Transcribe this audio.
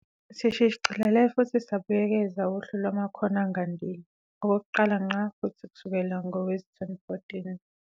Sishicilele futhi sabuyekeza uHlu Lwamakhono Angandile, okokuqala ngqa futhi kusukela ngowezi-2014.